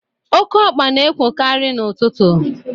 Okeokpa na-ekwokarị n'ụtụtụ.